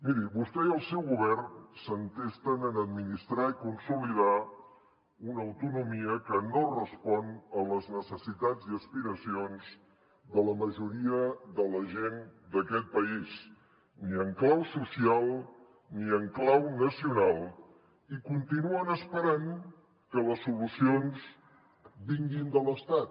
miri vostè i el seu govern s’entesten en administrar i consolidar una autonomia que no respon a les necessitats i aspiracions de la majoria de la gent d’aquest país ni en clau social ni en clau nacional i continuen esperant que les solucions vinguin de l’estat